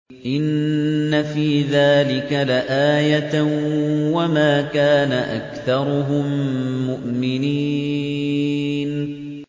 إِنَّ فِي ذَٰلِكَ لَآيَةً ۖ وَمَا كَانَ أَكْثَرُهُم مُّؤْمِنِينَ